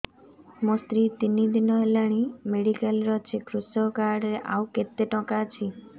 ମୋ ସ୍ତ୍ରୀ ତିନି ଦିନ ହେଲାଣି ମେଡିକାଲ ରେ ଅଛି କୃଷକ କାର୍ଡ ରେ ଆଉ କେତେ ଟଙ୍କା ଅଛି